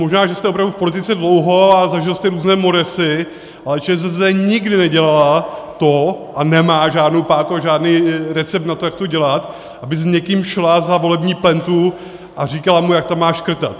Možná, že jste opravdu v politice dlouho a zažil jste různé moresy, ale ČSSD nikdy nedělala to - a nemá žádnou páku a žádný recept na to, jak to dělat - aby s někým šla za volební plentu a říkala mu, jak tam má škrtat.